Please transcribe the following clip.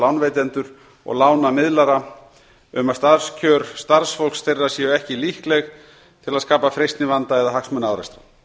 lánveitendur og lánamiðlara um að starfskjör starfsfólks þeirra séu ekki líkleg til að skapa freistnivanda eða hagsmunaárekstra